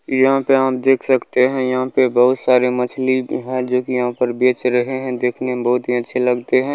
ई यहाँ पे आप देख सकते हैं यहाँ पे बहूत सारे मछली हैं जो की यहाँ पर बेच रहें हैं देखने में बहुत ही अच्छे लगते हैं।